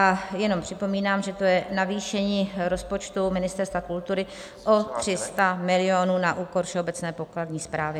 A jenom připomínám, že to je navýšení rozpočtu Ministerstva kultury o 300 milionů na úkor Všeobecné pokladní správy.